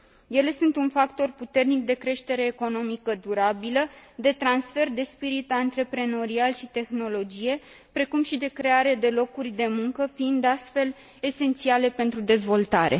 Ele sunt un factor puternic de creștere economică durabilă, de transfer de spirit antreprenorial și tehnologie, precum și de creare de locuri de muncă, fiind astfel esențiale pentru dezvoltare.